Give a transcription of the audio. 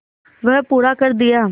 वह पूरा कर दिया